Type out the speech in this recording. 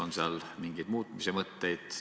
On seal mingeid muutmismõtteid?